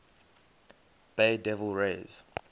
bay devil rays